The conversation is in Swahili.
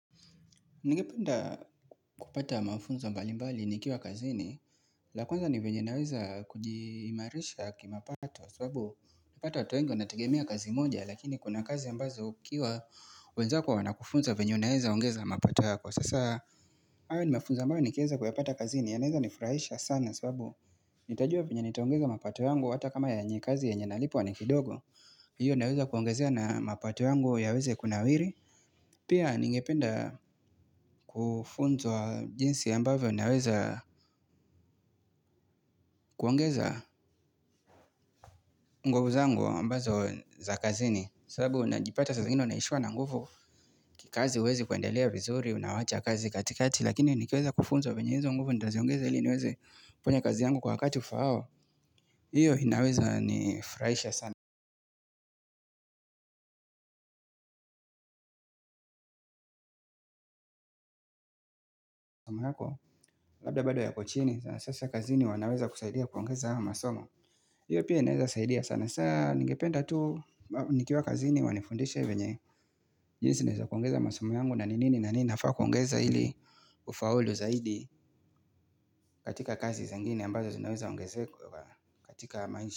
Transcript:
Ningependa kupata mafunzo mbali mbali nikiwa kazini. La kwanza ni vyenye naweza kujiimarisha kimapato sababu unapata watu wengi wanategemea kazi moja lakini kuna kazi ambazo ukiwa wenzako wanakufunza venye unaweza ongeza mapato yako. Sasa, hayo ni mafunzo ambayo nikiweza kuyapata kazini yanaweza nifurahisha sana sababu nitajua venye nitaongeza mapato yangu hata kama yenye kazi yenye nalipwa ni kidogo. Hiyo naweza kuongezea na mapato yangu yaweze kunawiri. Pia ningependa kufunzwa jinsi ambavyo unaweza kuongeza nguvu zangu ambazo za kazini, sababu unajipata saa zingine unaishiwa na nguvu. Kikazi huwezi kuendelea vizuri unawacha kazi katikati lakini nikiweza kufunzwa venye hizo nguvu nitaziongeza ili niwezi kufanya kazi yangu kwa wakati ufaao hiyo inaweza ni furahisha sana ambako labda bado yako chini. Sasa kazini wanaweza kusaidia kuongeza haya masomo, hiyo pia inaweza saidia sana sana. Ningependa tu nikiwa kazini wanifundishe venye, jinsi naweza kuongeza masomo yangu na nini na nini nafaa kuongeza ili kufaulu zaidi katika kazi zengine ambazo zinaweza ongezeka katika maisha.